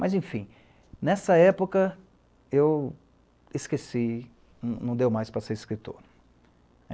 Mas enfim, nessa época, eu esqueci, não deu mais para ser escritor.